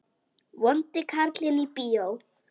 Vondi karlinn í bíó?